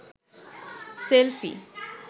selfie